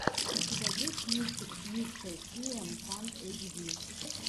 у тебя есть мультик мистэ сиэм панк эйтчди